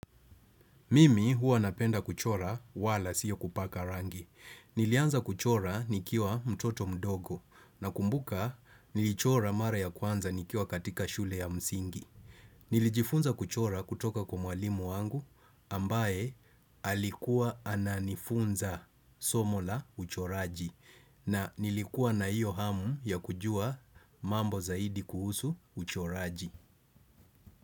Mimi huwa napenda kuchora wala sio kupaka rangi. Nilianza kuchora nikiwa mtoto mdogo nakumbuka nilichora mara ya kwanza nikiwa katika shule ya msingi. Nilijifunza kuchora kutoka kwa mwalimu wangu ambaye alikuwa ananifunza somo la uchoraji na nilikuwa na iyo hamu ya kujua mambo zaidi kuhusu uchoraji.